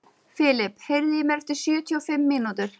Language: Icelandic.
Filip, heyrðu í mér eftir sjötíu og fimm mínútur.